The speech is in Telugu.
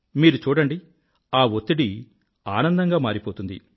మీరు చూడండి ఆ వత్తిడి ఆనందంగా మారిపోతుంది